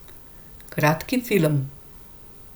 Kratki film.